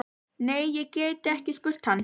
Nei, ég gæti ekki spurt hann.